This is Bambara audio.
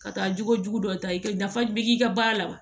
Ka taa jogojugu dɔ ta i ka dafa i ka baara la wa